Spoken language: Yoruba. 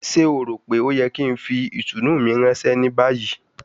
Ṣe o ro pe o yẹ ki n fi itunu mi ranṣẹ ni bayi?